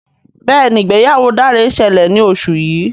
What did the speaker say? Béèni ìgbéyàwó Dare ṣẹlẹ ní oṣù yí.